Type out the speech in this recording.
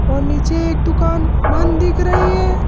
और नीचे एक दुकान बंद दिख रही है।